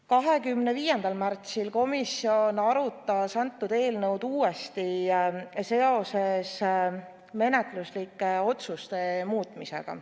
25. märtsil arutas komisjon eelnõu uuesti seoses menetluslike otsuste muutmisega.